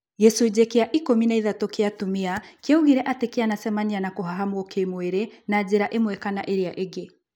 Gĩcunjĩ kĩa ikũmi na ithatũ kĩa atumia kĩaugire atĩ kĩanacemania na kũhahamwo kĩ-mwĩrĩ na njĩra ĩmwe kana ĩrĩa ĩngĩ